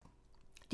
DR2